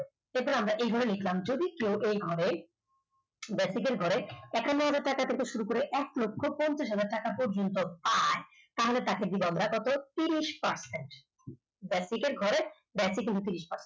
অথবা এছাড়া আমরা এইভাবে লিখলাম যদি কেউ এই ঘরে বেসিকের ঘরে একান্নহাজার টাকা থেকে শুরু করে এক লক্ষ পঞ্চাশহাজার টাকা যদি কেউ পায় তাহলে তাকে আমরা দিব কত ত্রিশ percent basic র ঘরে basic ঊনত্রিশ percent